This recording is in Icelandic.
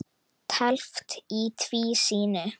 Teflt í tvísýnu